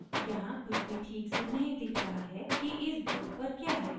यहाँ कुछ भी ठीक से नहीं दिख रहा है कि इस board पर क्या है